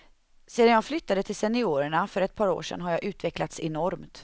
Sedan jag flyttade till seniorerna för ett par år sedan har jag utvecklats enormt.